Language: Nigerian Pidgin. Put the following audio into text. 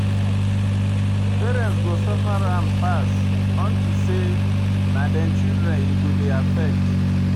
Parent go follow suffer am pass unto say, na dem children e dey affect.